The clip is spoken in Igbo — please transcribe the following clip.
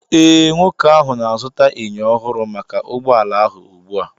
Ee, nwoke ahụ na-azụta enyo ọhụrụ maka ụgbọ ala ahụ ugbu a